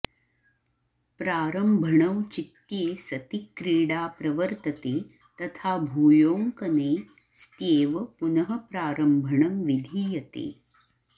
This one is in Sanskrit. प्रारम्भणौचित्ये सति क्रीडा प्रवर्तते तथा भूयोऽङ्कने स्त्येव पुनः प्रारम्भणं विधीयते